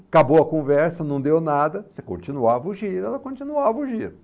acabou a conversa, não deu nada, você continuava o giro, ela continuava o giro.